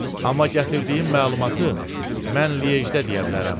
Amma gətirdiyim məlumatı mən Liejdə deyə bilərəm.